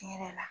Tiɲɛ yɛrɛ la